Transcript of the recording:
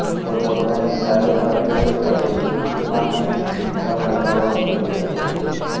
તે પોતાની ચારેય બાજુએ દરેક ચીજમાં નૈતિકતા મેળવવા પ્રયાસ કરે છે